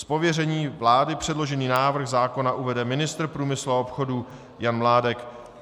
Z pověření vlády předložený návrh zákona uvede ministr průmyslu a obchodu Jan Mládek.